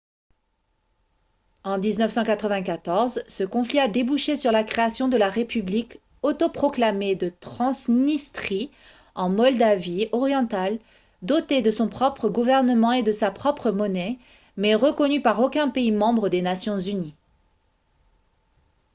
en 1994 ce conflit a débouché sur la création de la république autoproclamée de transnistrie en moldavie orientale dotée de son propre gouvernement et de sa propre monnaie mais reconnue par aucun pays membre des nations unies